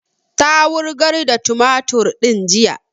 Ta wurgar da tumatur din jiya